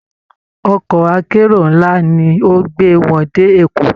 Ọkọ̀ akérò ńlá ni ó gbé wọn dé Èkó